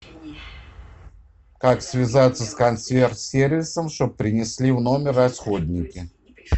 как связаться с консьерж сервисом чтоб принесли в номер расходники